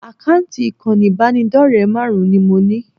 Àkáǹtì ìkànnì ìbánidọ́rẹ̀ẹ́ márùn-ún ni mo ní